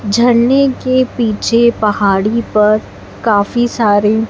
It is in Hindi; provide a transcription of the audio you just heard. झरने के पीछे पहाड़ी पर काफी सारी--